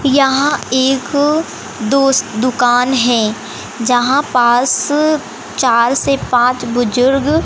यहां एक दोस्त दुकान है जहां पास चार से पांच बुजुर्ग--